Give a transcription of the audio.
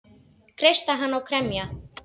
Kreista hana og kremja.